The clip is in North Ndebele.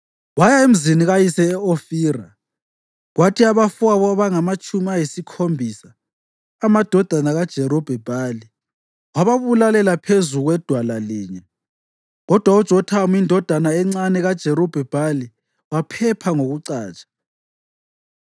Waya emzini kayise e-Ofira kwathi abafowabo abangamatshumi ayisikhombisa, amadodana kaJerubhi-Bhali, wababulalela phezu kwedwala linye. Kodwa uJothamu, indodana encane kaJerubhi-Bhali waphepha ngokucatsha.